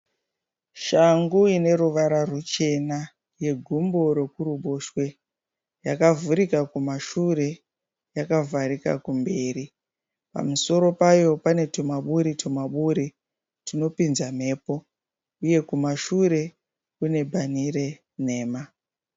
Shangu ine ruvara ruchena yegumbo rekuruboshwe, yakavhurika kumashure yakavharika kumberi. Pamusoro payo pane tumaburi-tumaburi tunopinza mhepo uye kumashure kune bhani renhema.